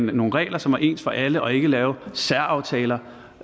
nogle regler som var ens for alle og ikke lave særaftaler